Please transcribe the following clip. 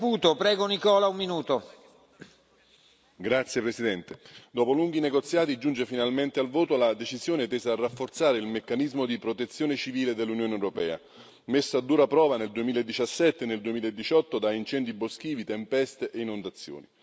Signor Presidente, onorevoli colleghi, dopo lunghi negoziati giunge finalmente al voto la decisione tesa a rafforzare il meccanismo di protezione civile dell'Unione europea, messa a dura prova nel 2017 e nel 2018 da incendi boschivi, tempeste e inondazioni.